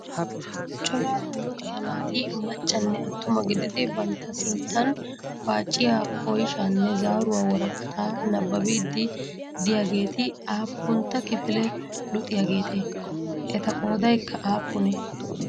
Cora luxiyaa naati maccanne attuma gididi bantta sinttan paaciya oyishaanne zaaruwa woraqataa nabbabbiiddi diyageeti aappuntta kifile luxiyageetee? Eta qoodayikka aappunee?